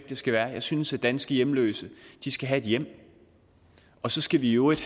det skal være jeg synes at danske hjemløse skal have et hjem og så skal vi i øvrigt